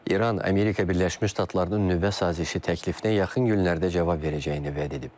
İran Amerika Birləşmiş Ştatlarının nüvə sazişi təklifinə yaxın günlərdə cavab verəcəyini vəd edib.